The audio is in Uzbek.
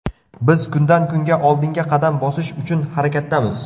Biz kundan-kunga oldinga qadam bosish uchun harakatdamiz.